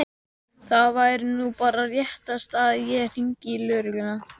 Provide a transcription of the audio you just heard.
Það væri nú bara réttast að ég hringdi í lögregluna.